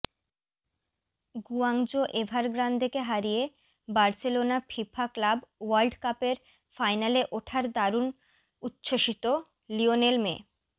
Guangzhou এভারগ্রান্দেকে হারিয়ে Barcelona FIFA club world কাপের ফাইনালে ওঠার দারুণ উচ্ছ্বসিত লিওনেল মে